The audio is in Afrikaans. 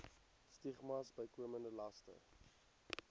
stigmas bykomende laste